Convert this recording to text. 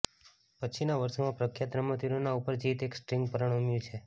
પછીના વર્ષોમાં પ્રખ્યાત રમતવીરોની ઉપર જીત એક સ્ટ્રિંગ પરિણમ્યું છે